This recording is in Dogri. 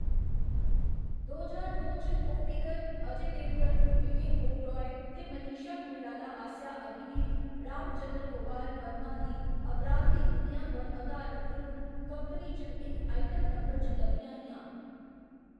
दो ज्हार दो च कोप्पिकर अजय देवगन, विवेक ओबेराय ते मनीशा कोइराला आस्सेआ अभिनीत रामचन्द्र गोपाल वर्मा दी अपराधी दुनिया पर अधारत फिल्म कंपनी च इक आइटम नंबर च लब्भियां हियां।